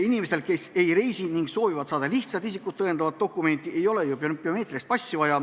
Inimestel, kes ei reisi ja kes soovivad saada lihtsalt isikut tõendavat dokumenti, ei ole ju biomeetrilist passi vaja.